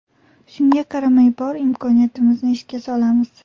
Shunga qaramay bor imkoniyatimizni ishga solamiz.